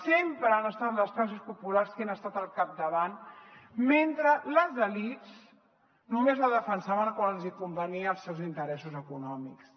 sempre han estat les classes populars les que han estat al capda vant mentre les elits només la defensaven quan els hi convenia als seus interessos econòmics